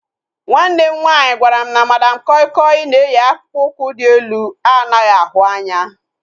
Nwanne m nwaanyị gwara m na Madam koi koi na-eyi akpụkpọ ụkwụ dị elu anaghị ahụ anya